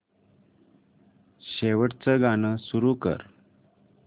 शेवटचं गाणं सुरू कर